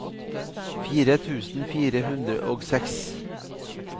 fire tusen fire hundre og seks